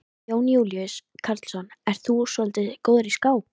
Jón Júlíus Karlsson: Ert þú svolítið góður í skák?